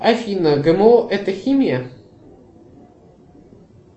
афина гмо это химия